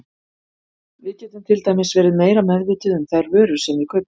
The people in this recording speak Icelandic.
Við getum til dæmis verið meira meðvituð um þær vörur sem við kaupum.